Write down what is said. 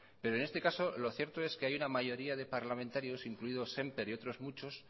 pero en este caso lo cierto es que hay una mayoría de parlamentarios incluidos semper y otros muchos